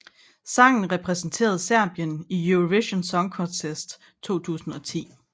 Sangen repræsenterede Serbien i Eurovision Song Contest 2010